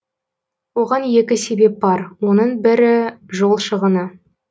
оған екі себеп бар оның бірі жол шығыны